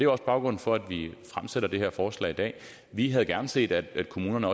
også baggrunden for at vi fremsætter det her forslag vi havde gerne set at kommunerne